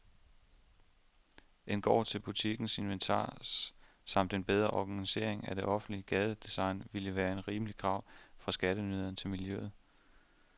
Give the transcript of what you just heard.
En gård til butikkens inventar samt en bedre organisering af det offentlige gadedesign ville være et rimeligt krav fra skatteyderne til miljøet.